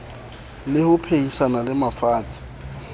le ho phehisana le mafatshe